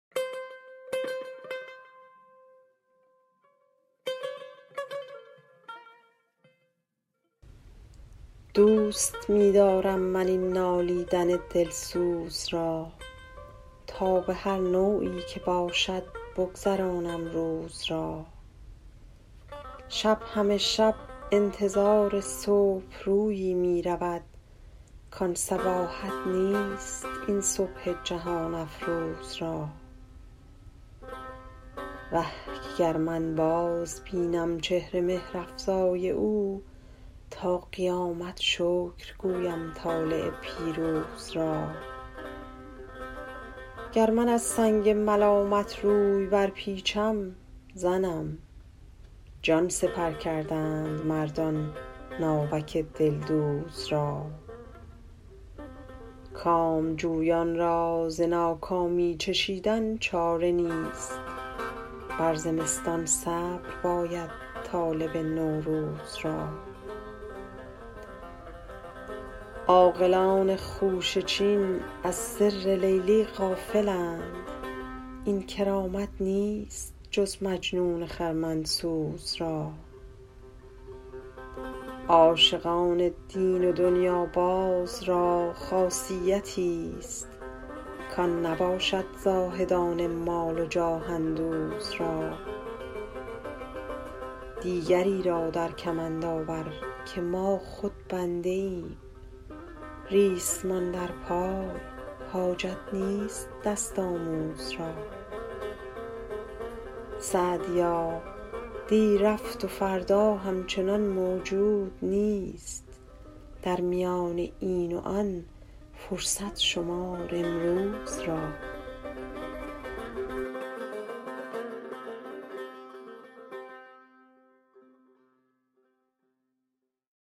دوست می دارم من این نالیدن دلسوز را تا به هر نوعی که باشد بگذرانم روز را شب همه شب انتظار صبح رویی می رود کان صباحت نیست این صبح جهان افروز را وه که گر من بازبینم چهر مهرافزای او تا قیامت شکر گویم طالع پیروز را گر من از سنگ ملامت روی برپیچم زنم جان سپر کردند مردان ناوک دلدوز را کامجویان را ز ناکامی چشیدن چاره نیست بر زمستان صبر باید طالب نوروز را عاقلان خوشه چین از سر لیلی غافلند این کرامت نیست جز مجنون خرمن سوز را عاشقان دین و دنیاباز را خاصیتیست کان نباشد زاهدان مال و جاه اندوز را دیگری را در کمند آور که ما خود بنده ایم ریسمان در پای حاجت نیست دست آموز را سعدیا دی رفت و فردا همچنان موجود نیست در میان این و آن فرصت شمار امروز را